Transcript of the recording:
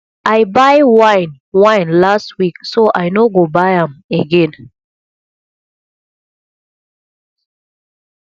i buy wine wine last week so i no go buy am again